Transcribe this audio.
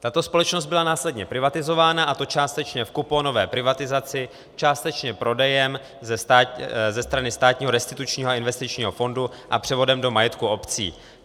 Tato společnost byla následně privatizována, a to částečně v kuponové privatizaci, částečně prodejem ze strany státního Restitučního investičního fondu a převodem do majetku obcí.